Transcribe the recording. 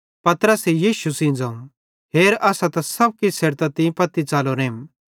पतरसे यीशु सेइं ज़ोवं हेर असां त सब किछ छ़ेडतां तीं पत्ती च़लोरेम